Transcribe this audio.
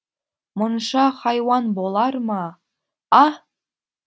мұнша хайуан болар ма а